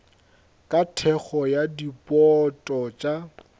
ka thekgo ya dibouto tša